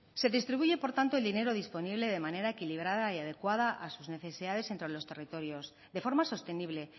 se distribuye por tanto el dinero disponible de manera equilibrada y adecuada a sus necesidades entre los territorios de forma sostenible